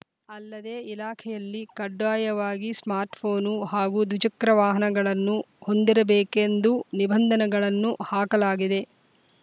ಅಲ್ಲದೆ ಇಲಾಖೆಯಲ್ಲಿ ಕಡ್ಡಾಯವಾಗಿ ಸ್ಮಾರ್ಟ್‌ಫೋನ್‌ನು ಹಾಗೂ ದ್ವಿಚಕ್ರ ವಾಹನಗಳನ್ನು ಹೊಂದಿರಬೇಕೆಂದು ನಿಬಂಧನೆಗಳನ್ನು ಹಾಕಲಾಗಿದೆ